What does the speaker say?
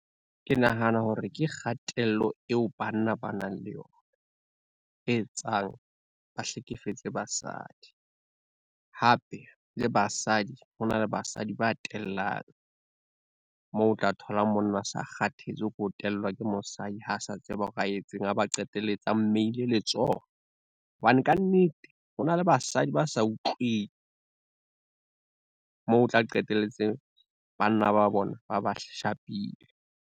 Ke nahana hore ke kgatello eo banna ba nang le yona, e etsang ba hlekefetse basadi. Hape le basadi ho na le basadi ba tellang, moo o tla thola monna a sa kgathetse ko tellwa ke mosadi ha sa tseba hore a etseng a ba qetelletse a mmeile letsoho, hobane kannete ho na le basadi ba sa utlweng. Moo o tla qetelletseng banna ba bona ba ba shapile.